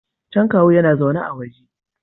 Can kawu yana zaune a waje